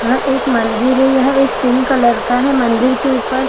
यहाँ पे एक मंदिर है यहाँ एक पिंक कलर का है मंदिर के ऊपर--